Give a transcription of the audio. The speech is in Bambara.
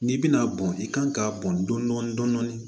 N'i bɛna bɔn i kan k'a bɔn dɔn dɔni dɔni